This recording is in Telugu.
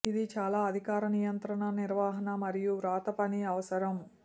ఇది చాలా అధికార నియంత్రణ నిర్వహణ మరియు వ్రాతపని అవసరం